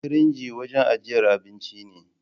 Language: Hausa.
firinji wanjan ajjiyar abinci ne